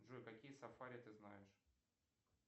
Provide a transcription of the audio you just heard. джой какие сафари ты знаешь